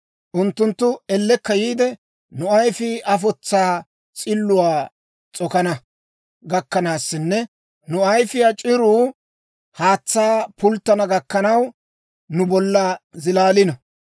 Unttunttu ellekka yiide, nu ayifii afotsaa s'illuwaa s'okana gakkanaassinne nu ayifiyaa c'iruu haatsaa pulttana gakkanaw nu bolla zilaalino.